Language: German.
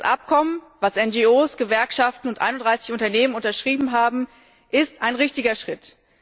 Das Abkommen, das NRO, Gewerkschaften und 31 Unternehmen unterschrieben haben, ist ein richtiger Schritt.